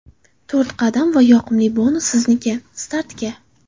To‘rt qadam va yoqimli bonus sizniki: Startga!